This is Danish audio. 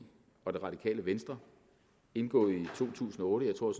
og det radikale venstre indgået i to tusind og otte jeg tror